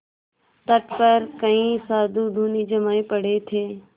तट पर कई साधु धूनी जमाये पड़े थे